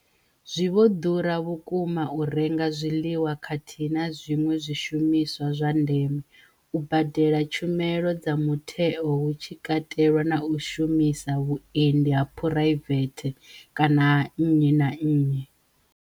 Zwi vho ḓura vhukuma u renga zwiḽiwa khathihi na zwiṅwe zwishumiswa zwa ndeme, u badela tshumelo dza mutheo hu tshi katelwa na u shumisa vhuendi ha phuraivethe kana ha nnyi na nnyi.